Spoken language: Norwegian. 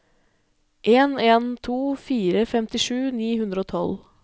en en to fire femtisju ni hundre og tolv